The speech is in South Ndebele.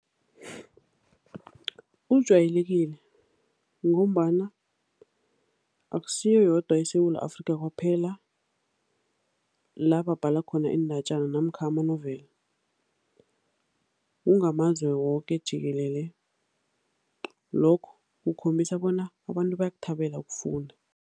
Ujwayelekile ngombana akusiyo yodwa eSewula Afrika kwaphela la babhala khona iindatjana namkha ama-novel, kungamazwe woke jikelele. Lokho kukhombisa bona abantu bayakuthabela ukufunda.